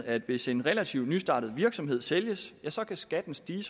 at hvis en relativt nystartet virksomhed sælges kan skatten stige